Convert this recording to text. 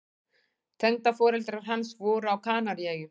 Tengdaforeldrar hans voru á Kanaríeyjum.